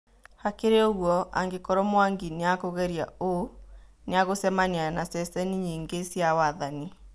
Hakĩrĩ ũgũo, angĩkorwo Mwangi nĩakugeria ũ, nĩagũcemania na ceceni nyingĩ cia wathani